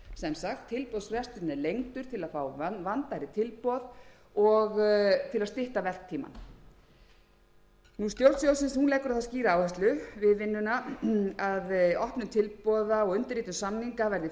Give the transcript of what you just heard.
sagt tilboðsfresturinn er lengdur til að fá vandaðri tilboð og til að stytta verktímann stjórn sjóðsins leggur á það skýra áherslu við vinnuna að opnun tilboða og undirritun samninga verði flýtt eins og kostur er